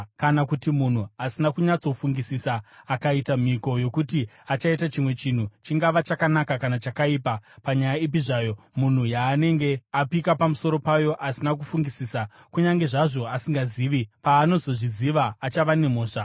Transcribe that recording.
“ ‘Kana kuti munhu asina kunyatsofungisisa akaita mhiko yokuti achaita chimwe chinhu, chingava chakanaka kana chakaipa, panyaya ipi zvayo, munhu yaanenge apika pamusoro payo asina kufungisisa, kunyange zvazvo asingazvizivi, paanozozviziva achava nemhosva.